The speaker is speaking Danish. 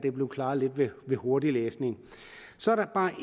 er blevet klaret ved hurtiglæsning så er der bare